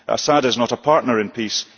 Assad is not a partner in peace.